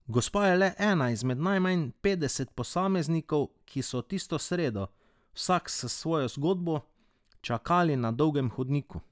Gospa je le ena izmed najmanj petdeset posameznikov, ki so tisto sredo, vsak s svojo zgodbo, čakali na dolgem hodniku.